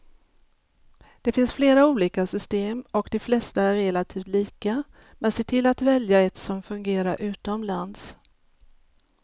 Det finns flera olika system och de flesta är relativt lika, men se till att välja ett som fungerar utomlands.